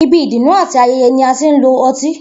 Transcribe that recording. Ibi ìdùnnú àti aye̩ye̩ ni a ti ń lo o̩tí